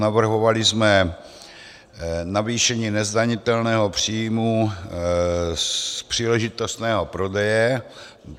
Navrhovali jsme navýšení nezdanitelného příjmu z příležitostného prodeje.